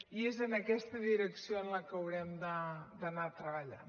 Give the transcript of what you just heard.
i és en aquest direcció en la que haurem d’anar treballant